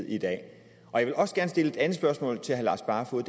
i dag jeg vil også gerne stille et andet spørgsmål til herre lars barfoed